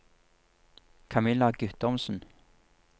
Camilla Guttormsen